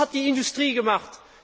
Was hat die Industrie gemacht?